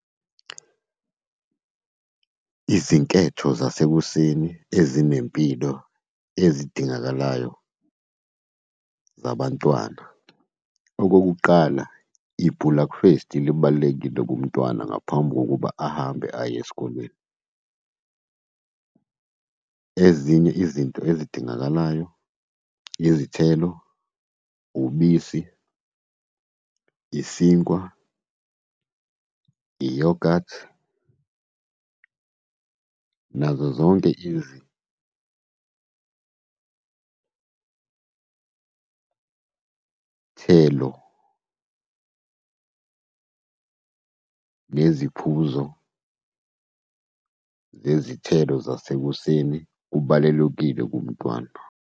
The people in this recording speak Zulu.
Izinketho zasekuseni ezinempilo ezidingakalayo zabantwana, okokuqala ibhulakufesi libalulekile kumntwana ngaphambi kokuba ahambe aye esikolweni. Ezinye izinto ezidingakalayo, izithelo, ubisi, isinkwa, i-yoghurt, nazo zonke izithelo neziphuzo zezithelo zasekuseni, kubalulekile kumntwana.